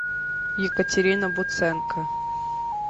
екатерина буценко